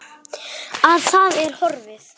Að það er horfið!